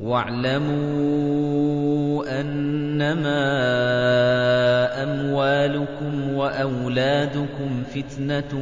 وَاعْلَمُوا أَنَّمَا أَمْوَالُكُمْ وَأَوْلَادُكُمْ فِتْنَةٌ